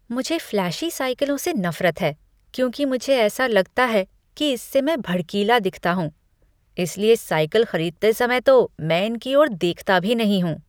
मुझे फ़्लैशी साइकिलों से नफरत है क्योंकि मुझे ऐसा लगता है कि इससे मैं भड़कीला दिखता हूँ। इसलिए साइकिल खरीदते समय तो मैं इनकी ओर देखता भी नहीं हूँ।